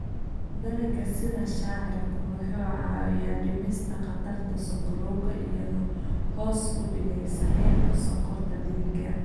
Dalagga sida shaciirku waxa uu caawiyaa dhimista khatarta sonkorowga iyada oo hoos u dhigaysa heerka sonkorta dhiigga.